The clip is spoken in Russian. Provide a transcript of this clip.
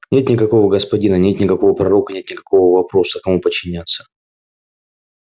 нет никакого господина нет никакого пророка нет никакого вопроса кому подчиняться